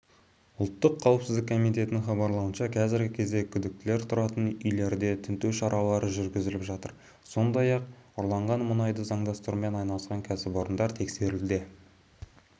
ұлттық қауіпсіздік комитетінің іабарлауынша қазіргі кезде күдіктілер тұратын үйлерде тінту шаралары жүргізіліп жатыр сондай-ақ ұрланған мұнайды заңдастырумен айналысқан кәсіпорындар тексерілуде